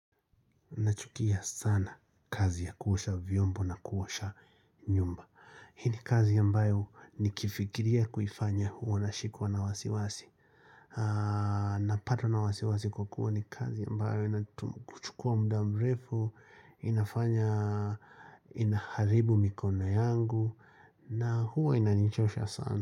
Nachukia sana kazi ya kuosha vyombo na kuosha nyumba. Hii ni kazi ambayo nikiifikiria kuifanya huwa nashikwa na wasiwasi Napatwa na wasiwasi kwa kuwa ni kazi ambayo inatuchukua muda mrefu inafanya inaharibu mikono yangu na huwa inanichosha sana.